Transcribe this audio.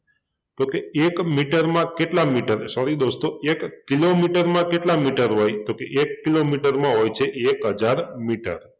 તો કે એક મીટર માં કેટલા મીટર sorry દોસ્તો એક કિલોમીટરમાં કેટલા મીટર હોય તો કે એક કિલોમીટરમાં હોય છે એક હજાર મીટર